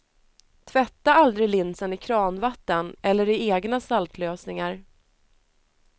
Tvätta aldrig linsen i kranvatten eller i egna saltlösningar.